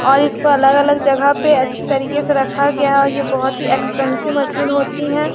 ऐसे में लोग रनिंग करते है ऐसी बॉडी बनाते हुए हाइट बढ़ता है।